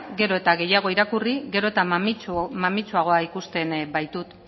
gero eta gehiago irakurri gero eta mamitsuagoa ikusten baitut